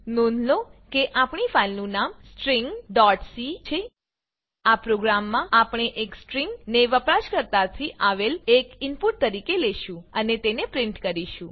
નોંધ લો કે આપણી ફાઈલનું નામ stringસી છે આ પ્રોગ્રામમાં આપણે એક સ્ટ્રિંગ ને વપરાશકર્તાથી આવેલ એક ઈનપુટ તરીકે લેશું અને તેને પ્રીંટ કરીશું